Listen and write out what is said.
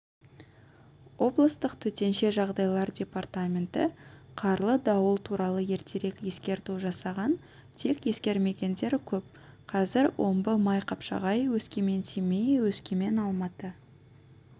облыстық төтенше жағдайлар департаменті қарлы-дауыл туралы ертерек ескерту жасаған тек ескермегендер көп қазір омбы-майқапшағай өскемен-семей өскемен-алматы